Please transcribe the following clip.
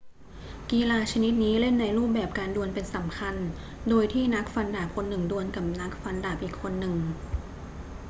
กีฬาชนิดนี้เล่นในรูปแบบการดวลเป็นสำคัญ โดยที่นักฟันดาบคนหนึ่งดวลกับนักฟันดาบอีกคนหนึ่ง